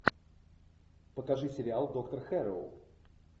покажи сериал доктор хэрроу